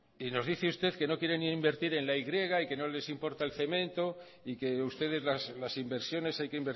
y nos dice usted que no quieren invertir en la y y que nos les importa el cemento y que ustedes las inversiones hay que